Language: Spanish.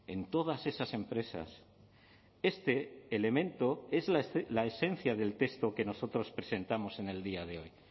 en todas esas empresas este elemento es la esencia del texto que nosotros presentamos en el día de hoy